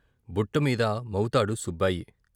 బుట్టమీద మవుతాడు సుబ్బాయి.